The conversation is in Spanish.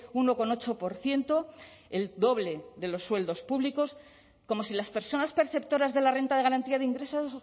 uno coma ocho por ciento el doble de los sueldos públicos como si las personas perceptoras de la renta de garantía de ingresos